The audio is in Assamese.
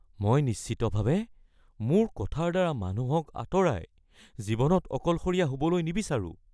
মই নিশ্চিতভাৱে মোৰ কথাৰ দ্বাৰা মানুহক আঁতৰাই, জীৱনত অকলশৰীয়া হ'বলৈ নিবিচাৰোঁ।